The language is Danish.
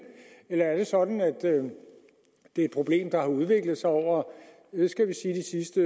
eller er det sådan at det er et problem der har udviklet sig over hvad skal vi sige de